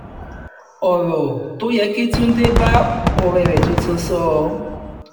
ọ̀rọ̀ tó yẹ kí túnde bá ọ̀rẹ́ rẹ tuntun sọ